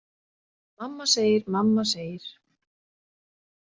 Mamma segir, mamma segir.